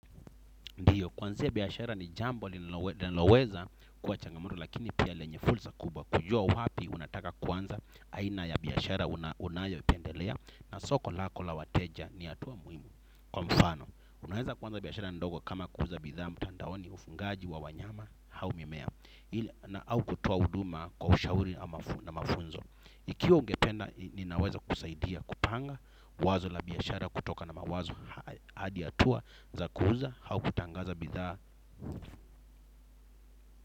Ndiyo kuanza biyashara ni jambo li niloweza kwa changamoto lakini pia lenye fulsa kubwa. Kujua wapi unataka kwanza aina ya biyashara unayo ipendelea na soko lako la wateja ni hata muhimu. Kwa mfano, unaeza kwanza biyashara ndogo kama kuuza bidhaa mtandaoni ufungaji wa wanyama au mimea na au kutoa uduma kwa ushauri na mafunzo. Ikiwa ungependa ni naweza kusaidia kupanga wazo la biyashara kutoka na mawazo hadi hatua za kuuza hau kutangaza bidhaa.